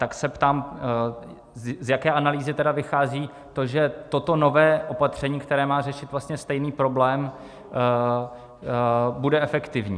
Tak se ptám, z jaké analýzy tedy vychází to, že toto nové opatření, které má řešit vlastně stejný problém, bude efektivní.